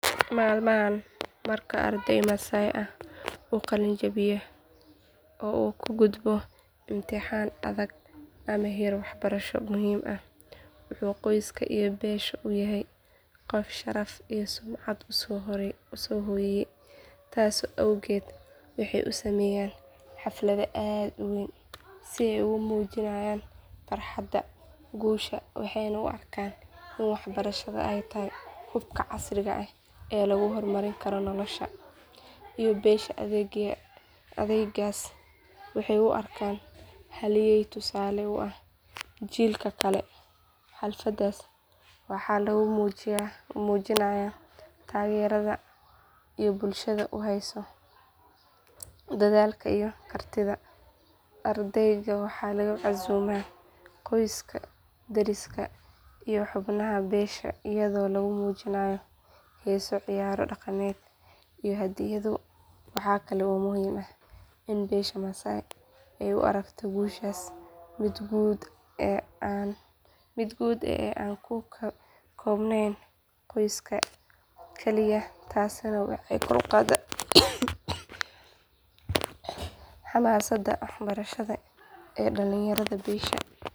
Maalmahaan marka arday masaai ah uu qaliin jabiyaa oo uu ka gudbo imtixaan adag ama heer waxbarasho muhiim ah wuxuu qoyska iyo beesha u yahay qof sharaf iyo sumcad u soo hooyay taas awgeed waxay u sameeyaan xaflad aad u weyn si ay ugu muujinayaan farxadda guusha waxayna u arkaan in waxbarashada ay tahay hubka casriga ah ee lagu horumari karo nolosha iyo beesha ardaygaas waxay u arkaan halyey tusaale u ah jiilka kale xafladdaas waxaa lagu muujinayaa taageerada ay bulshada u hayso dadaalka iyo kartida ardayga waxaa lagu casuumaa qoyska deriska iyo xubnaha beesha iyadoo lagu muujiyo heeso ciyaaro dhaqameed iyo hadiyado waxa kale oo muhiim ah in beesha masaai ay u aragto guushaas mid guud ee aan ku koobnayn qoyska kaliya taasina waxay kor u qaadaa xamaasadda waxbarashada ee dhallinyarada beesha.